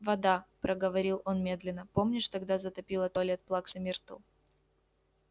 вода проговорил он медленно помнишь тогда затопило туалет плаксы миртл